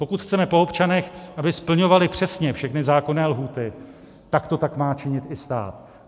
Pokud chceme po občanech, aby splňovali přesně všechny zákonné lhůty, tak to tak má činit i stát.